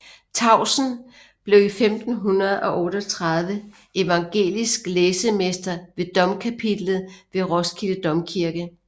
Tausen blev i 1538 evangelisk læsemester ved domkapitlet ved Roskilde Domkirke